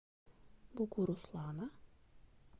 бугуруслана